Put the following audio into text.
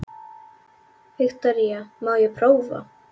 Viktoría: Má ég prófa?